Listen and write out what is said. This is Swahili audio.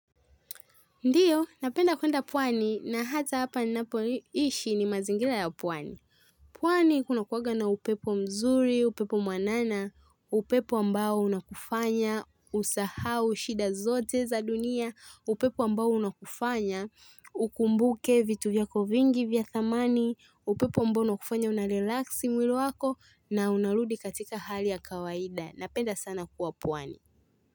Ndiyo napenda kwenda pwani na hata hapa ninapoishi ni mazingira ya pwani pwani kunakuwaga na upepo mzuri, upepo mwanana, upepo ambao unakufanya, usahau shida zote za dunia, upepo ambao unakufanya, ukumbuke vitu vyako vingi vya thamani, upepo ambao unakufanya unarelax mwili wako na unarudi katika hali ya kawaida, napenda sana kuwa pwani.